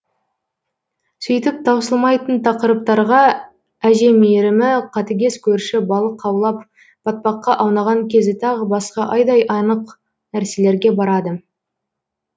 сөйтіп таусылмайтын тақырыптарға әже мейірімі қатыгез көрші балық аулап батпаққа аунаған кезі тағы басқа айдай анық нәрселерге барады